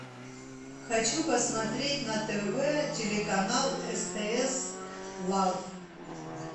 хочу посмотреть на тв телеканал стс лав